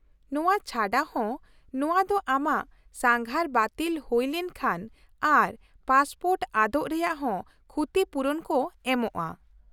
-ᱱᱚᱶᱟ ᱪᱷᱟᱰᱟ ᱦᱚᱸ, ᱱᱚᱶᱟ ᱫᱚ ᱟᱢᱟᱜ ᱥᱟᱸᱜᱷᱟᱨ ᱵᱟᱛᱤᱞ ᱦᱩᱭ ᱞᱮᱱᱠᱷᱟᱱ ᱟᱨ ᱯᱟᱥᱯᱳᱨᱴ ᱟᱫᱚᱜ ᱨᱮᱭᱟᱜ ᱦᱚᱸ ᱠᱷᱩᱛᱤᱯᱩᱨᱩᱱ ᱠᱚ ᱮᱢᱚᱜᱼᱟ ᱾